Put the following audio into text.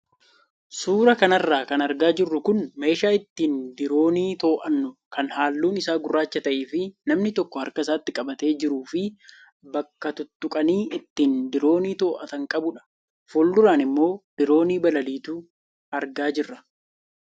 Suuraa kanarra kan argaa jirru kun meeshaa ittiin diroonii to'annu kan halluun isaa gurraacha ta'ee fi namni tokko harka isaatti qabatee jiruu fi bakka tuttuqanii ittiin diroonii to'atan qabudha. Fuulduraan immoo diroonii balaliitu argaa jirra.